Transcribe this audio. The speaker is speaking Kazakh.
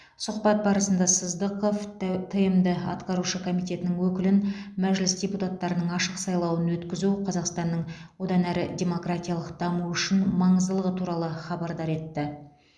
сұхбат барысында сыздықов тмд атқарушы комитетінің өкілін мәжіліс депутаттарының ашық сайлауын өткізу қазақстанның одан әрі демократиялық дамуы үшін маңыздылығы туралы хабардар етті